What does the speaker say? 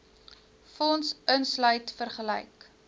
fonds insluit vergelyk